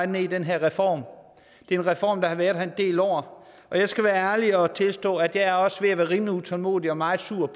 ned i den her reform det er en reform der har været her del år og jeg skal være ærlig at tilstå at jeg også er ved at være rimelig utålmodig og meget sur